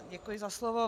Děkuji za slovo.